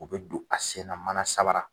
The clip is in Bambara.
U bi don a senna mana samara